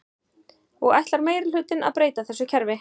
Og ætlar meirihlutinn að breyta þessu kerfi?